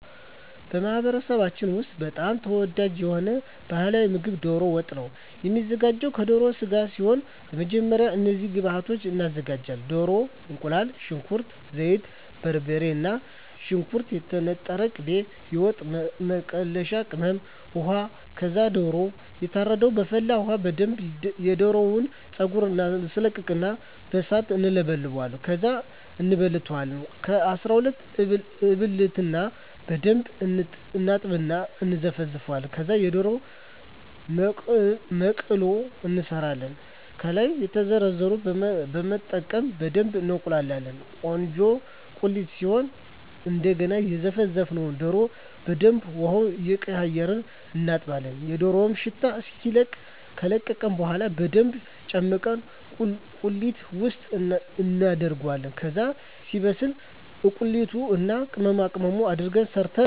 በማኅበረሰባችን ውስጥ በጣም ተወዳጅ የሆነው ባሕላዊ ምግብ ደሮ ወጥ ነው የሚዘጋው ከደሮ ስጋ ሲሆን በመጀመሪያ እነዚህን ግብአቶች እናዘጋጃለን። ደሮ፣ እቁላል፣ ሽንኩርት፣ ዘይት፣ በርበሬ፣ ነጭ ሽንኩርት፣ የተነጠረ ቅቤ፣ የወጥ መከለሻ ቅመም፣ ውሃ ከዛ ደሮው ይታረድና በፈላ ውሀ በደንብ የደሮውን ፀጉር እናስለቅቀውና በሣት እንለበልበዋለን። ከዛ እንበልተዋለን ከ12 እበልትና በደንብ እናጥብና እና እነዘፈዝፈዋለን። ከዛ የደሮ መቅሎ እንሠራለን። ከላይ የዘረዘርነውን በመጠቀም በደብ እናቁላላዋለን ቆንጆ ቁሌት ሲሆን እደገና የዘፈዘፍነውን ደሮ በደንብ ውሀውን እየቀያየርን እናጥበዋለን የደሮው ሽታ እስኪለቅ። ከለቀቀ በኋላ በደንብ ጨምቀን ቁሌት ውስጥ እናደርገዋለን። ከዛ ሲበስል እቁላሉን እና ቅመማቅመሙን አድርገን ሠርተን እንጨርሣለን። ይህ ምግብ የሚዘጋጀው በበዓላት፣ በሠርግ፣ ትልቅ እና የተከበረ እንግዳ ሲመጣ።